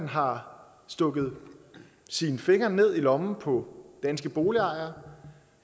har stukket sine fingre ned i lommen på danske boligejere